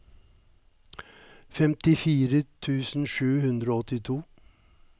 femtifire tusen sju hundre og åttito